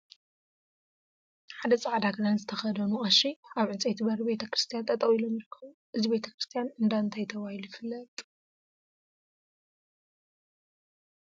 ሓደ ፃዕዳ ክዳን ዝተከደኑ ቀሺ አብ ዕንፀይቲ በሪ ቤተ ክርስትያን ጠጠው ኢሎም ይርከቡ፡፡ እዚ ቤተ ክርስትያን እንዳ እንታይ ተባሂሉ ይፍለጥ?